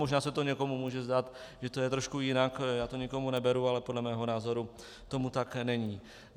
Možná se to někomu může zdát, že to je trošku jinak, já to nikomu neberu, ale podle mého názoru tomu tak není.